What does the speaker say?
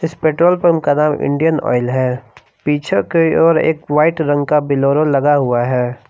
इस petrol pump का नाम इंडियन ऑयल है पीछे की ओर एक व्हाइट रंग का बेलेरो लगा हुआ है।